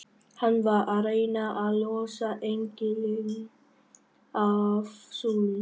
Hann var að reyna að losa engilinn af súlunni!